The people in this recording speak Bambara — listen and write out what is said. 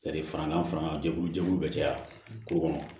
fara n'an fana jɛkulu jɛkulu bɛ caya dugu kɔnɔ